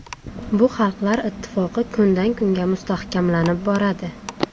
Bu xalqlar ittifoqi kundan kunga mustahkamlanib boradi.